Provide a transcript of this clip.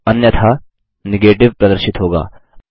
या अन्यथा नेगेटिव प्रदर्शित होगा